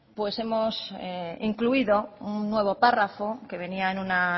pues hemos incluido un nuevo párrafo que venía en una